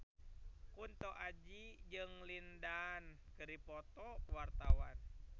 Kunto Aji jeung Lin Dan keur dipoto ku wartawan